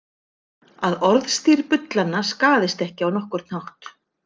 Að orðstír bullanna skaðist ekki á nokkurn hátt.